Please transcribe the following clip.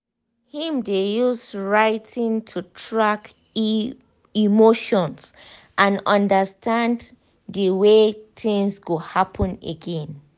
him dey use writiing to track e emotions and understand de way things go happen again.